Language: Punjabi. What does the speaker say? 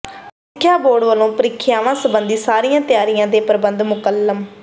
ਸਿੱਖਿਆ ਬੋਰਡ ਵੱਲੋਂ ਪ੍ਰੀਖਿਆਵਾਂ ਸਬੰਧੀ ਸਾਰੀਆਂ ਤਿਆਰੀਆਂ ਤੇ ਪ੍ਰਬੰਧ ਮੁਕੰਮਲ